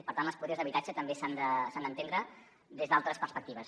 per tant les polítiques d’habitatge també s’han d’entendre des d’altres perspectives